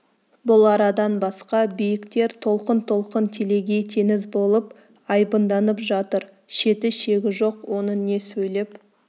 бұл арадан басқа биіктер толқын-толқын телегей теңіз болып айбынданып жатыр шеті шегі жоқ оның не сөйлеп